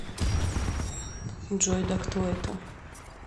джой да кто это